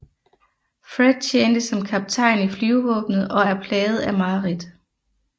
Fred tjente som kaptajn i flyvevåbnet og er plaget af mareridt